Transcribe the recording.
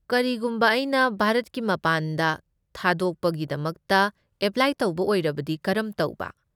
ꯀꯔꯤꯒꯨꯝꯕ ꯑꯩꯅ ꯚꯥꯔꯠꯀꯤ ꯃꯄꯥꯟꯗ ꯊꯥꯗꯣꯛꯄꯒꯤꯗꯃꯛꯇ ꯑꯦꯄ꯭ꯂꯥꯏ ꯇꯧꯕ ꯑꯣꯏꯔꯕꯗꯤ ꯀꯔꯝ ꯇꯧꯕ?